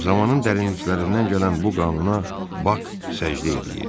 Zamanın dərinliklərindən gələn bu qanuna Bak səcdə eləyirdi.